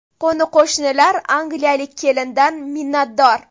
Qo‘ni-qo‘shnilar angliyalik kelindan minnatdor.